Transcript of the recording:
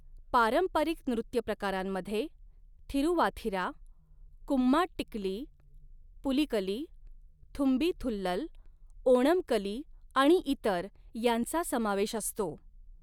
पारंपरिक नृत्यप्रकारांमध्ये थिरुवाथिरा, कुम्माट्टिकली, पुलिकली, थुंबी थुल्लल, ओणम कली आणि इतर यांचा समावेश असतो.